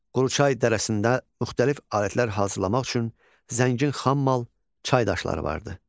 Quruçay dərəsində müxtəlif alətlər hazırlamaq üçün zəngin xam mal, çay daşları vardı.